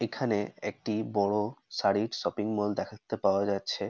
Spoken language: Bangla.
এখানে একটি বড় শাড়ির শপিং মল দ্যাখেততে পাওয়া যাচ্ছে ।